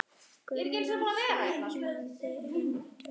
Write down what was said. Gunnar fórnaði höndum.